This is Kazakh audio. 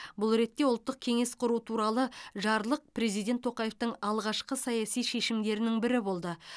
бұл ретте ұлттық кеңес құру туралы жарлық президент тоқаевтың алғашқы саяси шешімдерінің бірі болды